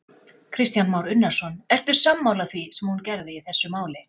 Kristján Már Unnarsson: Ertu sammála því sem hún gerði í þessu máli?